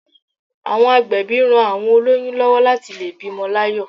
Àwọn agbẹ̀bí ran àwọn olóyún lówó láti lè bímo láyò